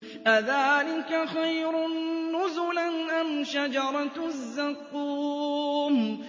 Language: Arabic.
أَذَٰلِكَ خَيْرٌ نُّزُلًا أَمْ شَجَرَةُ الزَّقُّومِ